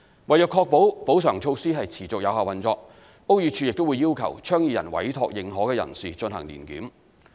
為確保補償措施持續有效運作，屋宇署會要求倡議人委託認可人士進行年檢。